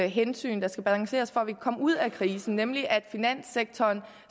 hensyn der skal balanceres for at vi kan komme ud af krisen nemlig at finanssektoren